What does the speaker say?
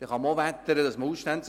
Darüber kann man auch wettern.